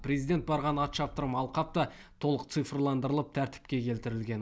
президент барған ат шаптырым алқап та толық цифрландырылып тәртіпке келтірілген